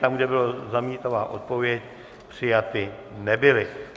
Tam, kde byla zamítavá odpověď, přijaty nebyly.